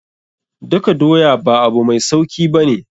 Daka doya ba abu mai sauki ba ne.